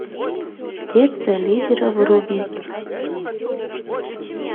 детство лидера вруби